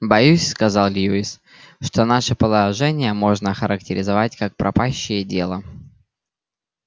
боюсь сказал льюис что наше положение можно охарактеризовать как пропащее дело